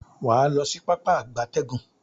Waa lo si Pápá ìgbatẹ́gùn.